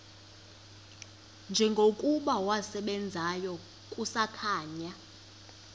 njengokuba wasebenzayo kusakhanya